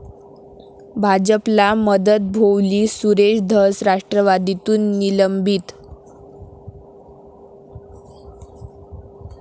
भाजपला मदत भोवली, सुरेश धस राष्ट्रवादीतून निलंबित